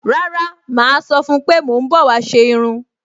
Rárá, màá sọ fún-un pé mò ń bọ̀ wá ṣe irun